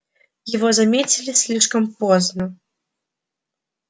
его заметили слишком поздно